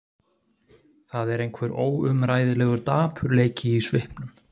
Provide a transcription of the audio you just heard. Það er einhver óumræðilegur dapurleiki í svipnum.